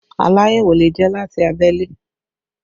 Aláyẹ̀wò lè jẹ́ láti abẹ́lé